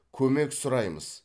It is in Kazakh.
көмек сұраймыз